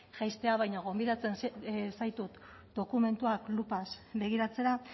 jaistea baino gonbidatzen zaitut dokumentuak lupa begiratzera